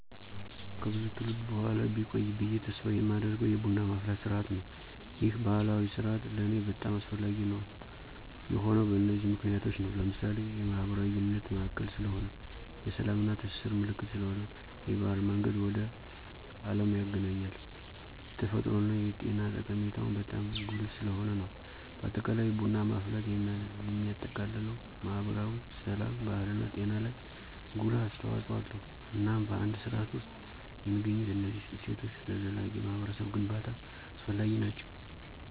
ከብዙ ትውልድ በኋላ ቢቆይ ብየ ተስፍ የማደርገው የቡና ማፍላት ስርዓት ነው። ይህ ባህላዊ ስርአት ለኔ በጣም አስፈላጊ የሆነው በነዚህ ምክንያቶች ነው። ለምሳሌ፦ የማህበራዊ ግንኙነት ማዕከል ስለሆነ፣ የስላም እና የትስስር ምልክት ስለሆነ፣ የባህል መንገድ ወደ አለም ያግናኘናል፣ የተፈጥሮ እና የጤና ጠቀሜታው በጣም ጉልህ ስለሆነ ነው። በአጠቃላይ ቡና ማፍላት የሚያጠቃልለው ማህበራዊ፣ ስላም፣ ባህልና ጤና ላይ ጉልህ አስተዋጽኦ አለው። እናም በአንድ ስርዓት ውስጥ የሚገኙት እነዚህ እሴቶች ለዘላቂ ማህበረሰብ ግንባታ አስፈላጊ ናቸው።